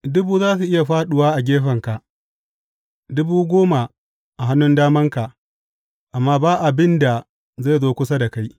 Dubu za su iya fāɗuwa a gefenka, dubu goma a hannun damanka, amma ba abin da zai zo kusa da kai.